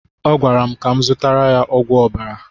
Ọ gwara m ka m zụtara ya ogwu ọbara